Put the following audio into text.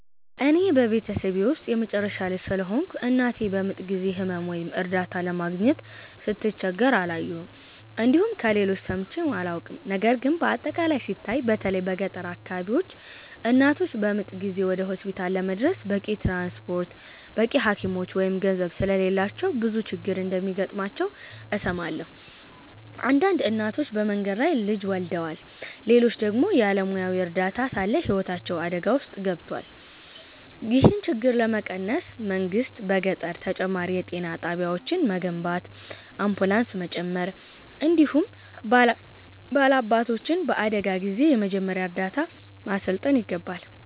እኔ በቤተሰቤ ውስጥ የመጨረሻ ልጅ ስለሆንኩ፣ እናቴ በምጥ ጊዜ ሕመም ወይም እርዳታ ለማግኘት ስትቸገር አላየሁም፣ እንዲሁም ከሌሎች ሰምቼም አላውቅም። ነገር ግን በአጠቃላይ ሲታይ፣ በተለይ በገጠር አካባቢዎች እናቶች በምጥ ጊዜ ወደ ሆስፒታል ለመድረስ በቂ ትራንስፖርት፣ በቂ ሐኪሞች ወይም ገንዘብ ስለሌላቸው ብዙ ችግር እንደሚገጥማቸው እሰማለሁ። አንዳንድ እናቶች በመንገድ ላይ ልጅ ወልደዋል፣ ሌሎች ደግሞ ያለ ሙያዊ እርዳታ ሳለ ሕይወታቸው አደጋ ውስጥ ገብቷል። ይህን ችግር ለመቀነስ መንግሥት በገጠር ተጨማሪ የጤና ጣቢያዎችን መገንባት፣ አምቡላንስ መጨመር፣ እንዲሁም ባላባቶችን በአደጋ ጊዜ የመጀመሪያ እርዳታ ማሠልጠን ይገባል።